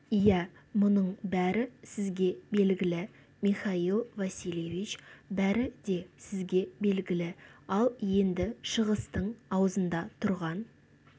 иә мұның бәрі сізге белгілі михаил васильевич бәрі де сізге белгілі ал енді шығыстың аузында тұрған